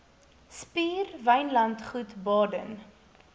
spier wynlandgoed baden